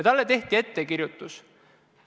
Talle tehti ettekirjutus.